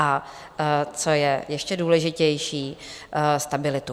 A co je ještě důležitější, stabilitu.